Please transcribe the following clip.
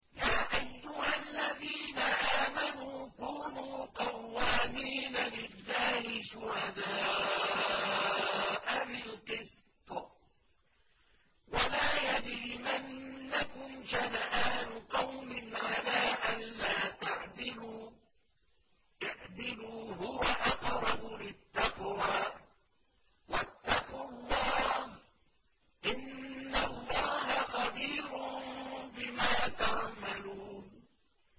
يَا أَيُّهَا الَّذِينَ آمَنُوا كُونُوا قَوَّامِينَ لِلَّهِ شُهَدَاءَ بِالْقِسْطِ ۖ وَلَا يَجْرِمَنَّكُمْ شَنَآنُ قَوْمٍ عَلَىٰ أَلَّا تَعْدِلُوا ۚ اعْدِلُوا هُوَ أَقْرَبُ لِلتَّقْوَىٰ ۖ وَاتَّقُوا اللَّهَ ۚ إِنَّ اللَّهَ خَبِيرٌ بِمَا تَعْمَلُونَ